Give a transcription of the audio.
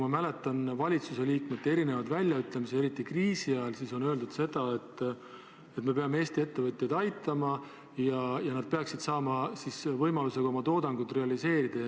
Ma mäletan valitsuse liikmete erinevaid väljaütlemisi – eriti kriisi ajal on seda öeldud –, et me peame Eesti ettevõtjaid aitama ja nad peaksid saama võimaluse oma toodangut realiseerida.